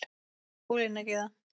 Ólína Gyða.